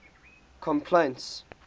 complaints